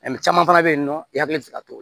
caman fana bɛ yen nɔ i hakili tɛ ka to